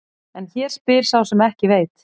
En hér spyr sá sem ekki veit.